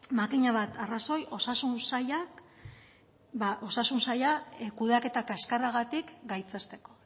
makina bat arrazoi osasun sailak kudeaketa kaskarragatik gaitzesteko